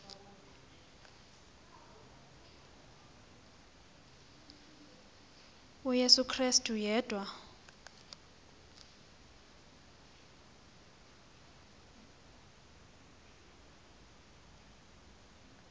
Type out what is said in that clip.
uyesu krestu yedwa